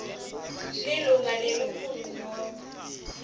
lilunga lelikhulu nobe